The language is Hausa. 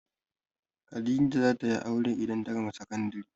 Khadijah za ta yi aure idan ta gama sakandari.